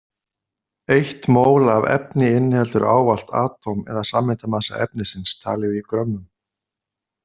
Eitt mól af efni inniheldur ávallt atóm- eða sameindamassa efnisins, talið í grömmum.